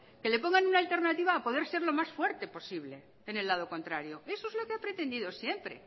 que le pongan una alternativa a poder ser lo más fuerte posible en el lado contrario eso es lo que ha pretendido siempre